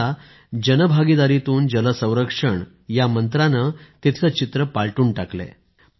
आता जन भागीदारीतून जल संरक्षण या मंत्राने तिथले चित्र पालटून टाकले आहे